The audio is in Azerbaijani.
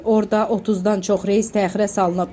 Orada 30-dan çox reys təxirə salınıb.